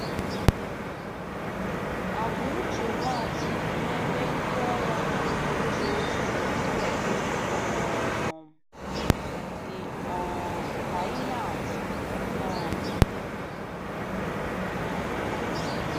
Àgwà uche Nwachukwu n'ebe ndị ọrịa nọ na-eje ozi dị um dị um ka ihe atụ nye anyị.